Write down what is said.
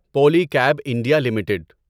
Poly cab India limited